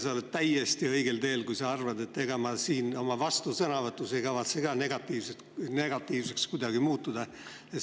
Sa oled täiesti õigel teel, kui arvad, et ega ma oma vastusõnavõtus ei kavatse ka kuidagi negatiivseks muutuda.